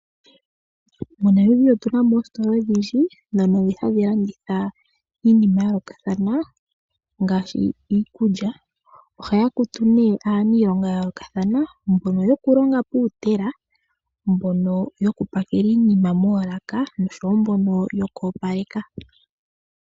MoNamibia otu na mo oositola odhindji ndhono hadhi landitha iinim aya yoolokathana ngaashi iikulya. Ohaya kutu nee aaniilonga ya yoolokathana mbono yokulonga pomashina, mbono yokupakela iinima moolaka noshowo mbono yoku opaleka.